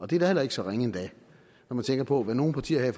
det er da heller ikke så ringe endda når man tænker på hvad nogle partier i